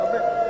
A Bayram.